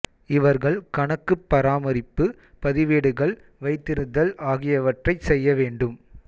இவர்கள் கணக்குப் பராமரிப்பு பதிவேடுகள் வைத்திருத்தல் ஆகியவற்றைச் செய்ய வேண்டும்